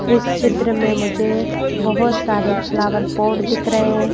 इस चित्र में मुझे बहुत सारे फ्लावर पोर्ट दिख रहे हैं।